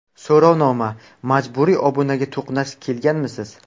So‘rovnoma: Majburiy obunaga to‘qnash kelganmisiz?